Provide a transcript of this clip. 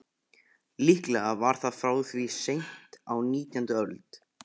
Líklega var það frá því seint á nítjándu öld.